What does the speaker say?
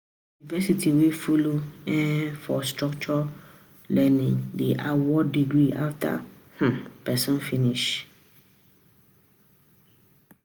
University wey follow um for structured learning dey award degree after um person finish